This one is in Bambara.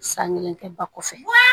San kelen kɛ ba kɔfɛ